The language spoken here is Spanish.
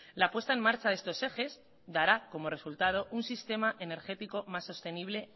la puesta en marcha de estos ejes dará como resultado un sistema energético más sostenible